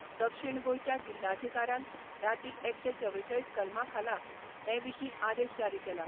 दक्षीण गोंयच्या जिल्हाधिकाऱ्यान राती एकशे चवेचाळीस कलमा खाला हे विशीं आदेश जारी केला.